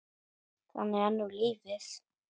Þannig er nú lífið.